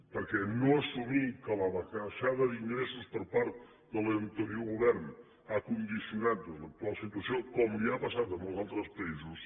perquè no assumir que la baixada d’ingressos per part de l’anterior govern ha condicionat doncs l’actual situació com els ha passat a molts altres països